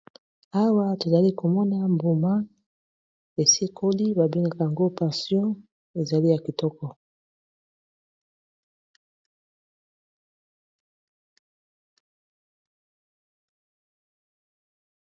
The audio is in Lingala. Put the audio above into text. Awa tozali komona mbuma esi ekoli babengaka yango pension ezali ya kitoko.